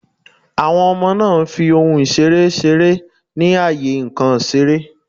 Àwon Omo náà n fi ohun ìseré seré ní àyè nkàn ìseré